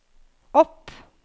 opp